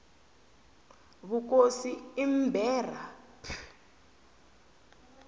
vukosi i mberha p